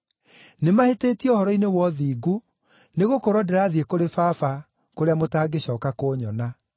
nĩmahĩtĩtie ũhoro-inĩ wa ũthingu, nĩgũkorwo ndĩrathiĩ kũrĩ Baba kũrĩa mũtangĩcooka kũnyona;